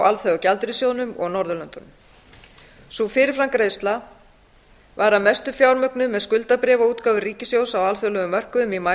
alþjóðagjaldeyrissjóðnum og norðurlöndum sú fyrirframgreiðsla var að mestu fjármögnuð með skuldabréfaútgáfu ríkissjóðs á alþjóðlegum mörkuðum í maí